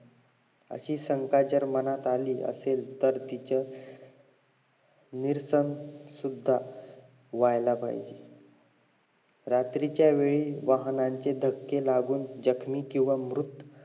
अशी शंका जर मनात आली असेल तर तिचे निरसन सुद्धा व्हायला पाहिजे रात्रीच्यावेळी वाहनाचे धक्के लागून जखमी कि मृत